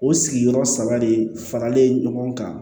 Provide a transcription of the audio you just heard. O sigiyɔrɔ saba de faralen ɲɔgɔn kan